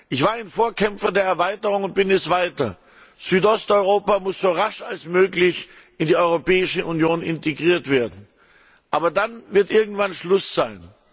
Ich war ein Vorkämpfer der Erweiterung und bin es weiter. Südosteuropa muss so rasch wie möglich in die Europäische Union integriert werden. Aber dann wird irgendwann Schluss sein.